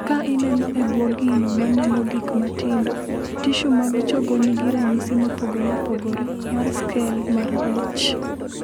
"Ka ineno e bwo gino ma neno gik matindo, tishu mag chogo nigi ranyisi mopogore opogore mar ""skel mar rech""."